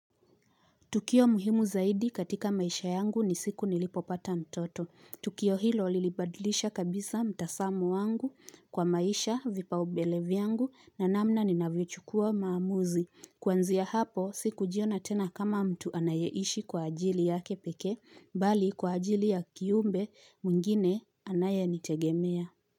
Tukio muhimu zaidi katika maisha yangu ni siku nilipopata mtoto. Tukio hilo lilibadilisha kabisa mtazamo wangu kwa maisha vipa ubele vyangu na namna ninayoichukua maamuzi. Kwanzia hapo, siku jiona tena kama mtu anayeishi kwa ajili yake pekee, bali kwa ajili ya kiumbe mwingine anaye nitegemea.